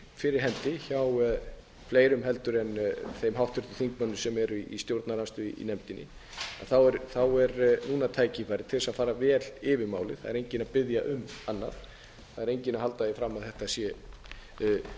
fyrir hendi hjá fleirum heldur en þeim háttvirtum þingmönnum sem eru í stjórnarandstöðu í nefndinni er núna tækifæri til þess að fara vel yfir málið það er enginn að biðja um annað það er enginn að halda því fram að þetta sé einfalt mál það vitum við sem